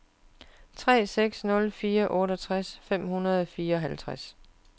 tre seks nul fire otteogtres fem hundrede og fireoghalvtreds